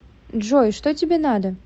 джой что тебе надо